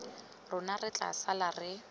rona re tla sala re